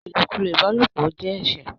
ilokulo ìbálòpọ̀ ọ jé ẹṣẹ.